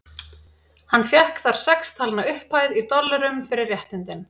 Hann fékk þar sex talna upphæð, í dollurum, fyrir réttindin.